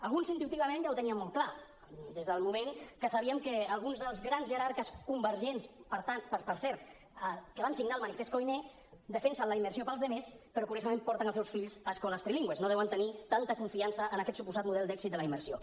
alguns intuïtivament ja ho teníem molt clar des del moment que sabíem que alguns dels grans jerarques convergents per cert que van signar el manifest koiné defensen la immersió per als altres però curiosament porten els seus fills a escoles trilingües no deuen tenir tanta confiança en aquest suposat model d’èxit de la immersió